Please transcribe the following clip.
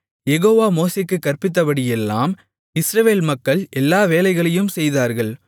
யெகோவா மோசேக்குக் கற்பித்தபடியெல்லாம் இஸ்ரவேல் மக்கள் எல்லா வேலைகளையும் செய்தார்கள்